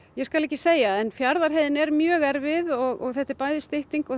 ég skal ekki segja en Fjarðarheiðin er mjög erfið og þetta er bæði stytting og